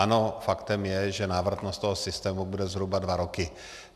Ano, faktem je, že návratnost toho systému bude zhruba dva roky.